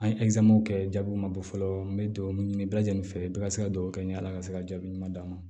An ye kɛ jaabiw ma bɔ fɔlɔ n bɛ dugawu ɲini bɛɛ lajɛlen fɛ bɛɛ ka se ka duwawu kɛ ni ala ka se ka jaabi ɲuman d'an ma